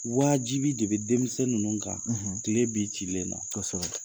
Wajibi de bi denmisɛn ninnu kan tile b'i cilen na, kosɛbɛ.